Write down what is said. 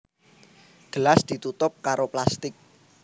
Gelas ditutup karo plastik